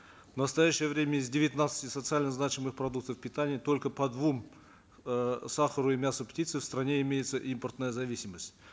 в настоящее время из девятнадцати социально значимых продуктов питания только по двум э сахару и мясу птицы в стране имеется импортная зависимость